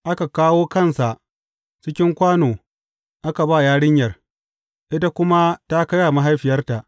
Aka kawo kansa cikin kwano aka ba yarinyar, ita kuma ta kai wa mahaifiyarta.